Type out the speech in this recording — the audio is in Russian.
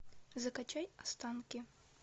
закачай останки